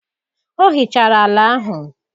Ọ hichara ala ahụ.